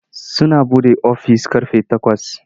Suna buɗe ofis ƙarfe takwas.